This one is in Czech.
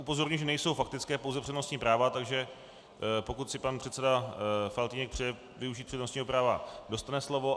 Upozorňuji, že nejsou faktické, pouze přednostní práva, takže pokud si pan předseda Faltýnek přeje využít přednostního práva, dostane slovo.